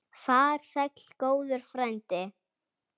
Far sæll góður frændi.